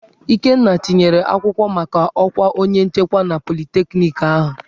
Ikenna tinyere akwụkwọ maka ọkwa onye nchekwa na politekniki ahụ.